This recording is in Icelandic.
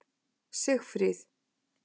Sigfríð